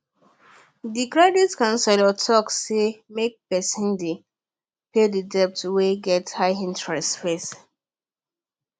the credit counselor talk say make person dey pay the debts wey get high interest first